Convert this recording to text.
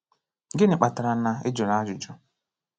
Gịnị kpatara na i jụrụ ajụjụ?